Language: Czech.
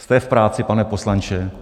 Jste v práci, pane poslanče.